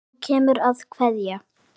Þú kemur að kveðja.